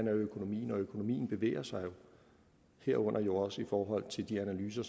er økonomien og økonomien bevæger sig jo herunder også i forhold til de analyser